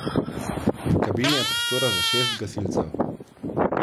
V kabini je prostora za šest gasilcev.